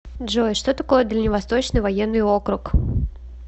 джой что такое дальневосточный военный округ